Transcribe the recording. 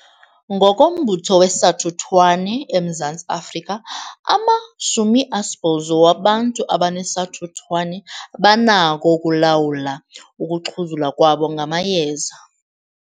NgokoMbutho weSathuthwane eMzantsi Afrika, ama-80 wabantu abanesathuthwane banakho ukulawula ukuxhuzula kwabo ngamayeza.